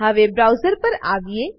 હવે બ્રાઉઝર પર આવીએ